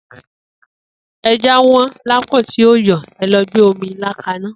Eja won la pon ti o yo ẹlo gbe omi ila ka na.